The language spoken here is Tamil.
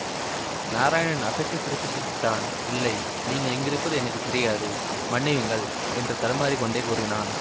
நாராயணன் அசட்டு சிரிப்பு சிரித்தான் இல்லை நீங்கள் இங்கிருப்பது எனக்கு தெரியாது மன்னியுங்கள் என்று தடுமாறி கொண்டே கூறினான்